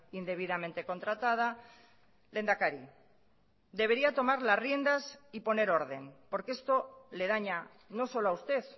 indebidamente contratada lehendakari debería tomar las riendas y poner orden porque esto le daña no solo a usted